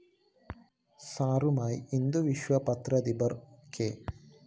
സാറുമായി ഹിന്ദുവിശ്വ പത്രാധിപര്‍ കെ